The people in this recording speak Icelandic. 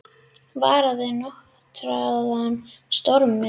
Varað við norðan stormi